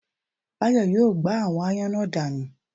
Báyọ̀ yóò gbá àwọn ááyán náà danù